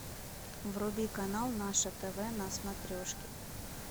вруби канал наше тв на смотрешке